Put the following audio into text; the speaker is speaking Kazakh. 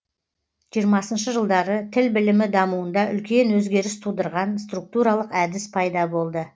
жиырмасыншы жылдары тіл білімі дамуында үлкен өзгеріс тудырған структуралық әдіс пайда болды